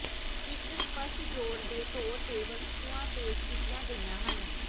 ਇਕ ਸਪੱਸ਼ਟ ਜੋੜ ਦੇ ਤੌਰ ਤੇ ਵਸਤੂਆਂ ਪੇਸ਼ ਕੀਤੀਆਂ ਗਈਆਂ ਹਨ